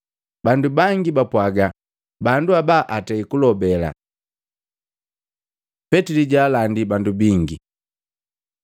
Bandu bangi bapwaaga, “Bandu aba atei kulobe!” Petili jwaalandi bandu bingi